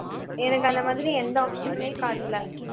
எனக்கு அந்த மாதிரி எந்த option னுமே காட்டல